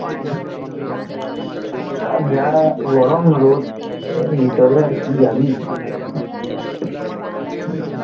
যা গরম রোদ এর ভিতরে আর কি যাবি,